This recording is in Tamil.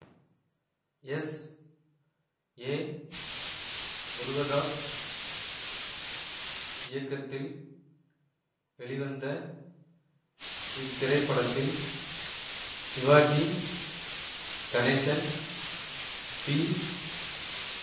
எஸ் ஏ முருகதாஸ் இயக்கத்தில் வெளிவந்த இத்திரைப்படத்தில் சிவாஜி கணேசன் பி